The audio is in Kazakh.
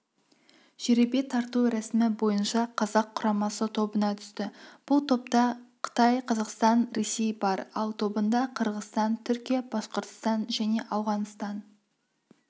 жеребе тарту рәсімі бойынша қазақ құрамасы тобына түсті бұл топта қытай қазақстан ресей бар ал тобында қырғызстан түркия башқұртстан және ауғанстан